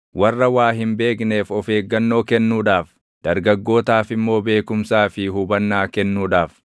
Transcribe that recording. warra waa hin beekneef of eeggannoo kennuudhaaf, dargaggootaaf immoo beekumsaa fi hubannaa kennuudhaaf,